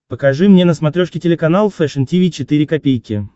покажи мне на смотрешке телеканал фэшн ти ви четыре ка